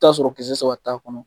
Taa sɔrɔ kisɛ saba t'a kɔnɔ.